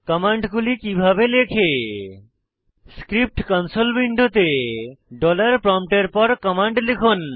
কমান্ডগুলি কিভাবে লেখে script console উইন্ডোতে প্রম্পটের পর কমান্ড লিখুন